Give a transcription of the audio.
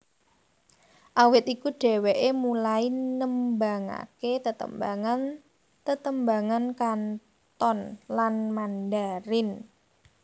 Awit iku dheweké mulai nembangaké tetembangan tetembangan Kanton lan Mandarin